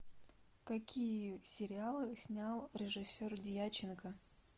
какие сериалы снял режиссер дьяченко